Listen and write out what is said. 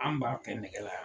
An b'a kɛ nɛgɛ la